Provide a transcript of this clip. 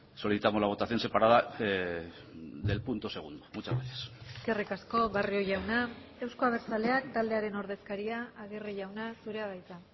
solicitamos la votación separada del punto segundo muchas gracias eskerrik asko barrio jauna euzko abertzaleak taldearen ordezkaria agirre jauna zurea da hitza